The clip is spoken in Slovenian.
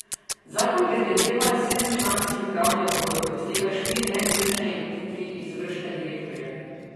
Zakon predvideva sedemčlanski upravni odbor, od tega štiri neizvršne in tri izvršne direktorje.